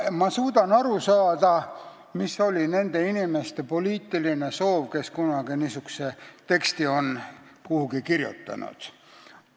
Ma suudan aru saada, mis oli nende inimeste poliitiline soov, kes kunagi niisuguse teksti kirjutasid.